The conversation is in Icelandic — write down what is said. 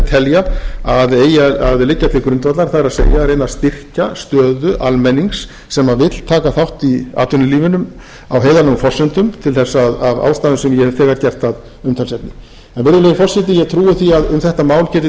telja að eigi að liggja til grundvallar það er að reyna að styrkja stöðu almennings sem vill taka þátt í atvinnulífinu á heiðarlegum forsendum til þess af ástæðum sem ég hef gert að umtalsefni virðulegi forseti ég trúi því að um þetta mál geti tekist ágæt